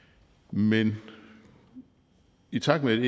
men i takt med